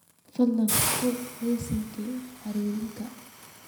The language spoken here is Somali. fadlan fur liiskayga xiriirka